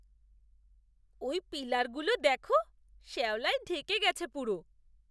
ওই পিলারগুলো দেখো। শ্যাওলায় ঢেকে গেছে পুরো।